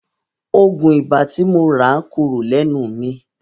Òògùn ibà tí mo rà ń korò lẹ́nu mi.